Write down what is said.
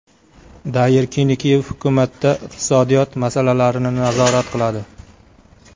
Dayir Kenekeyev hukumatda iqtisodiyot masalalarini nazorat qiladi.